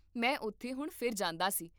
ਮੈਂ ਉਥੇ ਹੁਣ ਫਿਰ ਜਾਂਦਾ ਸੀ